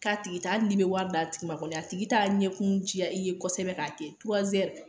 K'a tigi taa hali n'i bɛ wari d'a tigi ma kɔni a tigi taa ɲɛkun diya i ye kosɛbɛ k'a kɛ